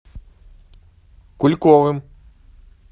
кульковым